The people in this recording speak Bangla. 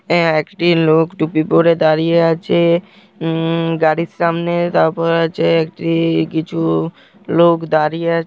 একটি লোক টুপি পড়ে দাঁড়িয়ে আছে উম-- গাড়ির সামনে-- তারপর আছে-- একটি কিছু লোক-- দাঁড়িয়ে আছে।